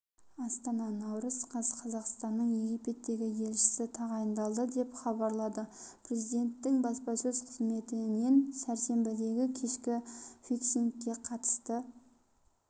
астана наурыз қаз қазақстанның египеттегі елшісі тағайындалды деп хабарлады президенттің баспасөз қызметінен сәрсенбідегі кешкі фиксингке қатысты